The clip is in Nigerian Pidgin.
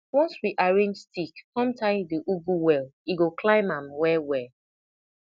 once we arrange stick come tie the ugu well e go climb am well well